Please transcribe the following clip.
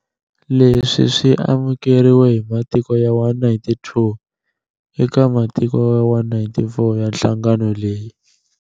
Leswi swi amukeriwe hi matiko ya 192 eka matiko ya 194 ya nhlangano leyi.